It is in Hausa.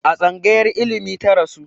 A tsangayar ilimi ta rasu